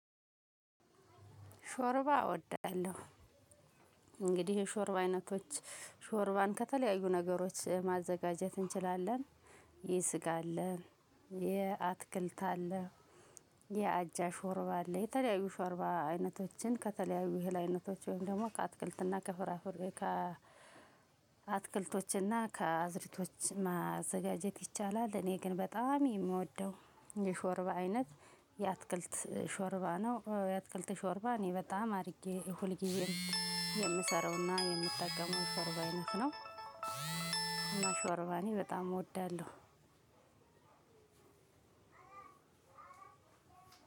ሾርባ እወዳለሁ። እንግዲህ የሾርባ አይነቶች ሾርባን ከተለያዩ ነገሮች ማዘጋጀት እንችላለን። የስጋ አለ የአትክልት አለ የአጃ ሾርባ አለ የተለያዩ ሾርባ አይነቶችን ከተለያዩ የእህል አይነቶች ወይም ደግሞ ከአትክልት እና ከፍራፍር ከ አትክልቶች እና ከአዝርቶች ማዘጋጀት ይቻላል። እኔ ግን በጣም የምወደው የሾርባ አይነት የአትክልት ሾርባ ነው። የአትክልት ሾርባ እኔ በጣም አድርጌ ሁልጊዜም የምሰራው እና የምጠቀመው የሾርባ አይነት ነው። እና ሾርባ እኔ በጣም እወዳለሁ።